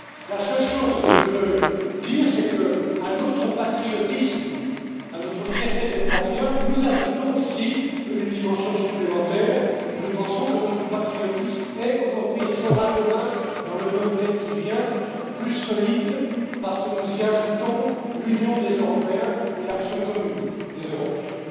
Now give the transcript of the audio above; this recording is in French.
La seule chose que je veux dire c'est que, à notre patriotisme, à notre fierté d'être patriotes, nous ajoutons ici une dimension supplémentaire, nous pensons que notre patriotisme est aujourd'hui, et sera demain dans le monde tel qu'il vient, plus solide, parce que nous y ajoutons l'union des Européens et l'action commune des Européens.